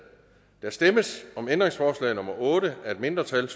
der stemmes om ændringsforslag nummer otte af et mindretal